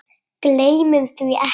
Gleymum því ekki.